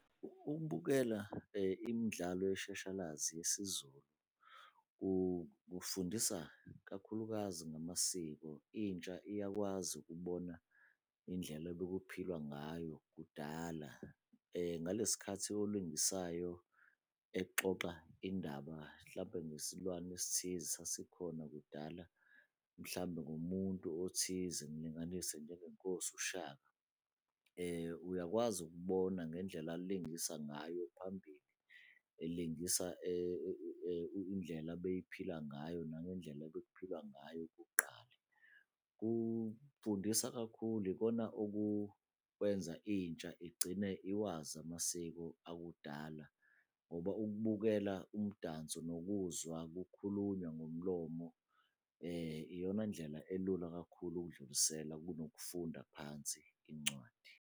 Ukubukela imidlalo yeshashalazi yesiZulu kufundisa kakhulukazi ngamasiko, intsha iyakwazi ukubona indlela ebekuphilwa ngayo kudala. Ngalesi sikhathi olingisayo exoxa indaba hlampe ngesilwane esithize esasikhona kudala, mhlawumbe ngomuntu othize, ngilinganise njengeNkosi uShaka. Uyakwazi ukubona ngendlela alingisa ngayo phambili, elingisa indlela abeyiphila ngayo nangendlela ebekuphilwa ngayo kuqala. Kufundisa kakhulu, yikona okukwenza intsha igcine iwazi amasiko akudala ngoba ukubukela umdanso nokuzwa kukhulunywa ngomlomo, iyona ndlela elula kakhulu ukudlulisela kunokufunda phansi incwadi.